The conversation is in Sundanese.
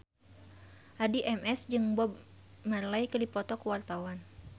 Addie MS jeung Bob Marley keur dipoto ku wartawan